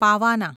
પાવાના